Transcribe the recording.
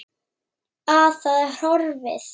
Að það er horfið!